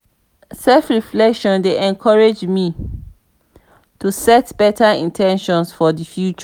self-reflection dey encourage me to set better in ten tions for the future.